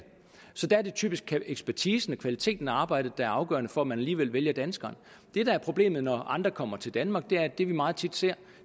der er det typisk ekspertisen og kvaliteten af arbejdet der er afgørende for at man alligevel vælger danskeren det der er problemet når andre kommer til danmark er at det vi meget tit ser